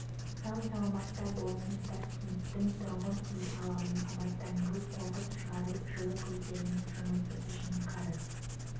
сау саламатта болыңыздар кенттің тұрғын үй алабын абаттандыру қоқыс шығару жылу көздерінің жұмысы үшін қарыз